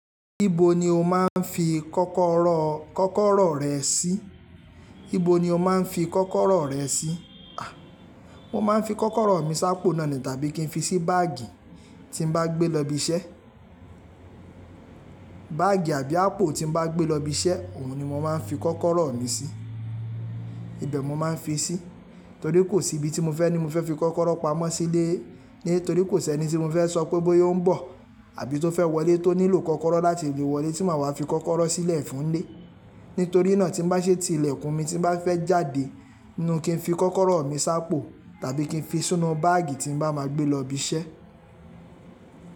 Ibo ni o máa ń fi kọ́kọ́rọ́, kọ́kọ́rọ́ rẹ sí? Ibo ni o máa ń fi kọ́kọ́rọ́ rẹ sí? A! Mo máa ń fi kọ́kọ́rọ́ mi sápò náà ni tàbí kí n fi sí báàgì tí n bá gbé lọ ibi iṣẹ́. Báàgì àbí àpò tí n bá gbé lọ ibi iṣẹ́, òun ni mo máa ń fi kọ́kọ́rọ́ mi sí. Ìbẹ̀ mo máa ń fi sí, torí kò sí ibi tí mo fẹ́ ni mo fẹ́ fi kọ́kọ́rọ́ pa'mọ́ sí ni ile. Nítorí kò sí ẹni tí mo fẹ́ sọ pé bóyá ó ń bọ̀ àbí tó fẹ́ wọlé tó nílò kọ́kọ́rọ́ láti le wọlé tí màá wá fi kọ́kọ́rọ́ sílẹ̀ fún un nílé. Nítorí náà tí n bá ṣe ti ilẹ̀kùn mi tí n bá fẹ́ jáde, ninu kí ń fi kọ́kọ́rọ́ mi sápò tàbí kí n fi sínú báàgì tí n bá máa gbé lọ ibi iṣẹ́.